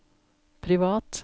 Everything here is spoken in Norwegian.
privat